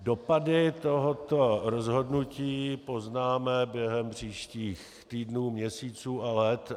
Dopady tohoto rozhodnutí poznáme během příštích týdnů, měsíců a let.